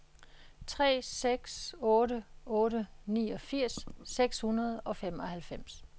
tre seks otte otte niogfirs seks hundrede og femoghalvfems